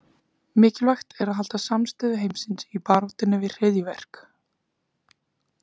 Mikilvægt er að halda samstöðu heimsins í baráttunni við hryðjuverk.